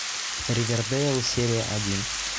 ривердейл серия один